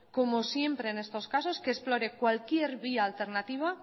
como siempre en estos casos que explore cualquier vía alternativa